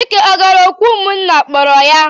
Chike ọ gara òkù ụmụnna kpọrọ ya?